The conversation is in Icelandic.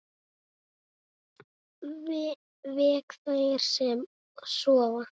Vek þær sem sofa.